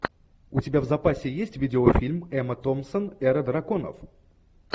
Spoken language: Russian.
у тебя в запасе есть видеофильм эмма томпсон эра драконов